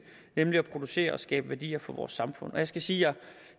nemlig at producere og skabe værdier for vores samfund jeg skal sige at